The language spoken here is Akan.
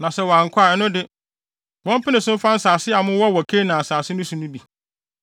na sɛ wɔankɔ a, ɛno de, wɔmpene so mfa nsase a mowɔ wɔ Kanaan asase so no bi.”